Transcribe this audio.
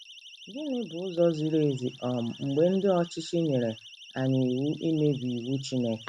Gịnị bụ ụzọ ziri ezi um mgbe ndị ọchịchị nyere anyị iwu imebi iwu Chineke?